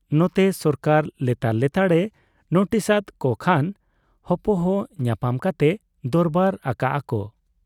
ᱱᱚᱛᱮ ᱥᱚᱨᱠᱟᱨ ᱞᱮᱛᱟᱲ ᱞᱮᱛᱟᱲ ᱮ ᱱᱩᱴᱤᱥ ᱟᱫ ᱠᱚ ᱠᱷᱟᱱ ᱦᱚᱯᱚᱦᱚ ᱧᱟᱯᱟᱢ ᱠᱟᱛᱮ ᱫᱚᱨᱵᱟᱨ ᱟᱠᱟᱜ ᱟ ᱠᱚ ᱾